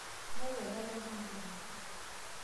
miaku ake olaimonkoni